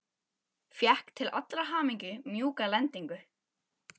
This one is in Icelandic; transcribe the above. Fékk til allrar hamingju mjúka lendingu.